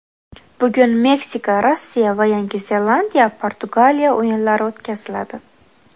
Bugun Meksika Rossiya va Yangi Zelandiya Portugaliya o‘yinlari o‘tkaziladi.